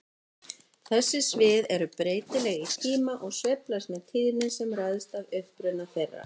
Þessi svið eru breytileg í tíma og sveiflast með tíðni sem ræðst af uppruna þeirra.